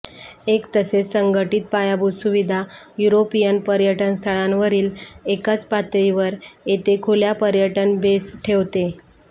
एक तसेच संघटित पायाभूत सुविधा युरोपियन पर्यटनस्थळांवरील एकाच पातळीवर येथे खुल्या पर्यटन बेस ठेवते